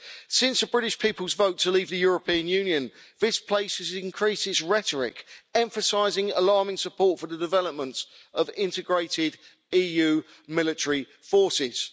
Since the British people's vote to leave the European Union, this place has increased rhetoric, emphasising alarming support for the development of integrated EU military forces.